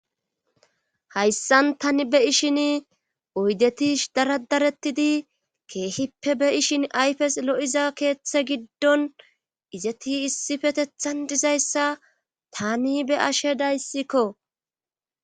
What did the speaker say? Hayssan tani be7ishin oydetish daradarettidi keehippe be7ishin ayfes lo7iza keeththe giddon izeti issi fetethan dizayssa tani be ashe dayssikko.